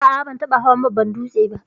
A'a ban taba hawan babban dūtse ba.